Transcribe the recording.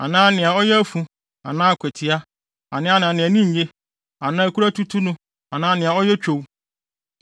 anaa nea ɔyɛ afu anaa akwatia anaa nea nʼani nye anaa nea kuru atutu no anaa nea ɔyɛ twow.